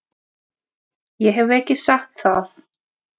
Ég hef ekki sagt það!